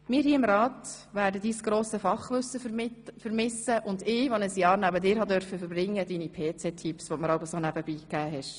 Wir hier im Rat werden dein grosses Fachwissen vermissen, und ich, die ich ein Jahr neben dir verbringen durfte, deine PC-Tipps, die du mir so nebenbei gegeben hast.